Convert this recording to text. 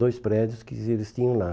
Dois prédios que eles tinham lá.